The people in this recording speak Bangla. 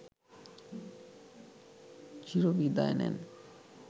চিরবিদায় নেন